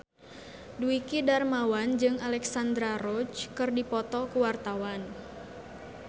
Dwiki Darmawan jeung Alexandra Roach keur dipoto ku wartawan